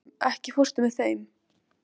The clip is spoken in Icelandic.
Sigurunn, ekki fórstu með þeim?